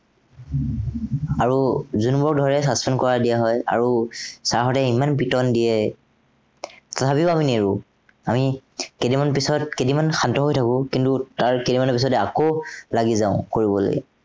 আৰু যোনবোৰ ধৰে কৰি দিয়া হয়। আৰু sir হঁতে ইমান পিটন দিয়ে। তথাপিও আমি নেৰো। কেইদিনমান পিছত কেইদিনমান শান্ত হৈ থাকো, তাৰ কেইদিনমানৰ পিছতে আকৌ লাগি যাওঁ কৰিবলৈ।